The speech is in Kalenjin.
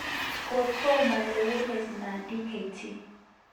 Kotomo lewenet non Dkt.